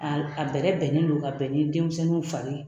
Aa a bɛrɛ bɛnnen don ka bɛn ni denmisɛnninw fari